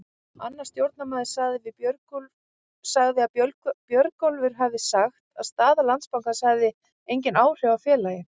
Annar stjórnarmaður sagði að Björgólfur hafi sagt að staða Landsbankans hefði engin áhrif á félagið.